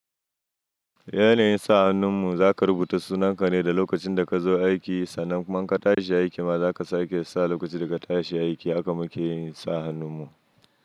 Yanayin sa hannun mu zaka rubuta sunanka ne da lokacin da ka zo aiki sannan man ka tashi aiki ma zaka sake saka lokaci da ka tashi aiki haka muke yin sa hannun mu.